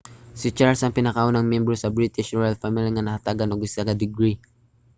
si charles ang pinakaunang miyembro sa british royal family nga nahatagan og usa ka degree